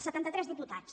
setanta tres diputats